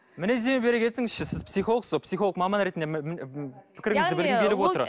мінездеме бере кетіңізші сіз психологсыз ғой психолог маман ретінде пікіріңізді білгім келіп отыр